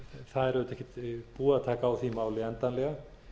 það er auðvitað ekkert búið að taka á því máli endanlega